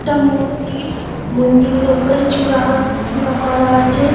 একটা মন্দির | মন্দিরের ওপরে চূড়া চূড়া করা আছে |